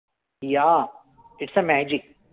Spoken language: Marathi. Yeah. its magic.